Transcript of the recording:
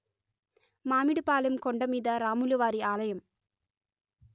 మామిడి పాలెం కొండమీద రాములు వారి ఆలయం